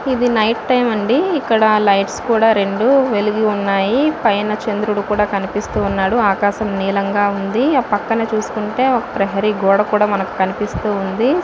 ఇది night time అండి. ఇక్కడ లైట్స్ కూడా ఉన్నాయి. పైనా చంద్రుడు కూడా కనిపిస్తున్నాడు. ఆకాశం నీలంగా ఉంది. ఆ పక్కన చూసుకుంటే ఒక ప్రహరీ గోడ కూడా మనకి కనిపిస్తుంది.